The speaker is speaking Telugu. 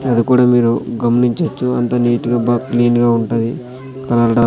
అది కూడా మీరు గమనించొచ్చు అంత నీట్ గా బాగా క్లీన్ గా ఉంటది .